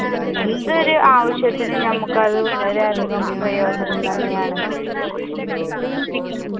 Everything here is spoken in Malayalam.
എന്തൊരു ആവശ്യത്തിനും ഞമ്മുക്കത് വളരെയധികം പ്രയോജനം തന്നെയാണ്.